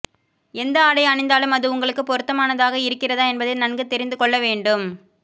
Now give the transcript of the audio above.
எந்த ஆடை அணிந்தாலும் அது உங்களுக்கு பொருத்தமானதாக இருக்கிறதா என்பதை நன்கு தெரிந்துக்கொள்ள வேண்டும்